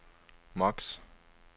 max